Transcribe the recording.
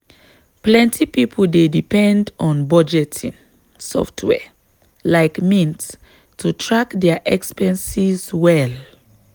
plenty people dey depend on budgeting software like mint to track dia expenses well.